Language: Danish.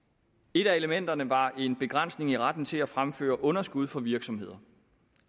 et af elementerne var en begrænsning i retten til at fremføre underskud for virksomheder